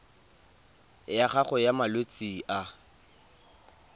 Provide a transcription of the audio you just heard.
ya gago ya malwetse a